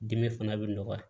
Dimi fana bɛ nɔgɔya